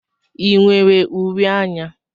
I nwere uri anya?